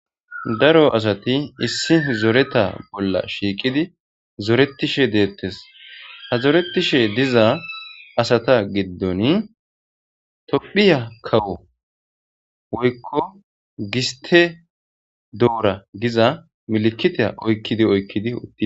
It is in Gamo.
Daro asati issi zoreta bolla shiiqidi zoretishe deettes ha zoretishe diza asata giddoni tophiya kawo woykko giste doora giza milikita oykkidi oykkidi uttidi